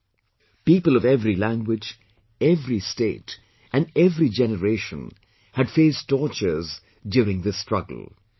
included people of every language, every state and every generation had faced tortures during this struggle